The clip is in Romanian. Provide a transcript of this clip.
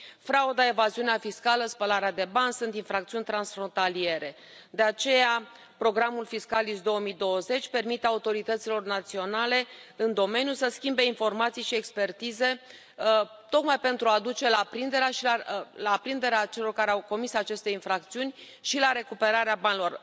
Frauda, evaziunea fiscală, spălarea de bani sunt infracțiuni transfrontaliere, de aceea programul Fiscalis 2020 permite autorităților naționale în domeniu să schimbe informații și expertize, tocmai pentru a duce la prinderea celor care au comis aceste infracțiuni și la recuperarea banilor.